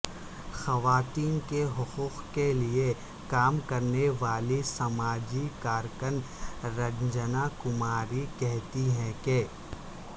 خواتین کے حقوق کے لیے کام کرنے والی سماجی کارکن رنجنا کماری کہتی ہیں کہ